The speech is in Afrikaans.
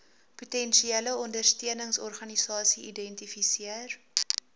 potensiële ondersteuningsorganisasie identifiseer